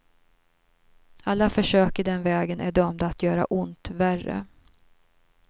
Alla försök i den vägen är dömda att göra ont värre.